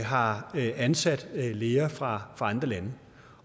har ansat læger fra andre lande